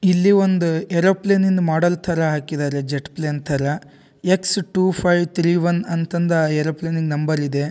ಇಲ್ಲಿ ಒಂದು ಏರೋಪ್ಲೇನ್ ನಿನ್ ಮಾಡಲ್ ಥರ ಹಾಕಿದ್ದಾರೆ ಜೆಟ್ ಪ್ಲೇನ್ ಥರ. X two five three three one ಅಂತಂದ ಆ ಏರೋಪ್ಲೇನಿನ್ ನಂಬರ್ ಇದೆ.